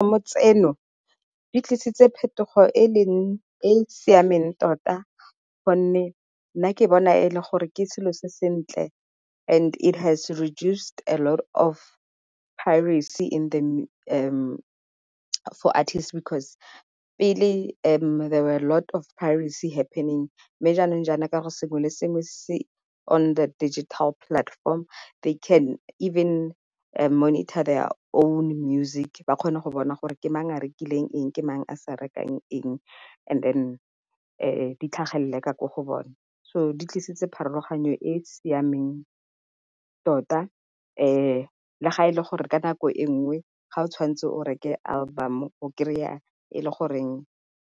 Ditlamo tseno di tlisitse phetogo e e siameng tota, gonne nna ke bona ke selo se sentle and it has reduced a lot of piracy for artists because pele there were a lot of piracy happening. Mme jaanong jana ka sengwe le sengwe se on the digital platform they can even monitor their own music. Ba kgone go bona gore ke mang a rekileng eng, ke mang a sa rekang rekang eng and then di tlhagelele ko go bone. So di tlisitse pharologanyo e e siameng tota, le ga e le gore ka nako e nngwe ga o tshwantse o reke album o kry-a e le goreng